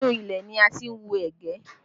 Inú ilẹ̀ ni a ti ń wú ẹ̀gẹ́